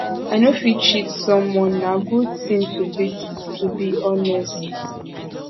i no fit cheat someone na good ting to be to be honest